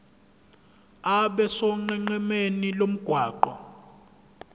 abe sonqenqemeni lomgwaqo